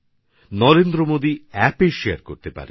Narendra Modi অ্যাপএ share করতে পারেন